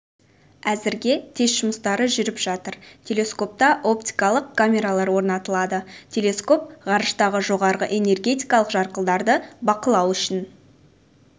әзірге тест жұмыстары жүріп жатыр телескопта оптикалық камералар орнатылады телескоп ғарыштағы жоғары энергетикалық жарқылдарды бақылау үшін